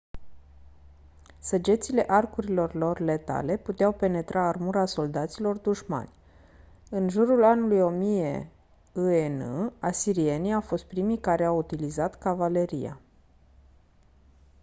săgețile arcurilor lor letale puteau penetra armura soldaților dușmani în jurul anului 1000 î.e.n. asirienii au fost primii care au utilizat cavaleria